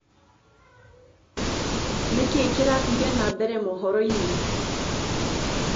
nĩkĩĩ kĩrathĩe nambere mohoro-ĩnĩ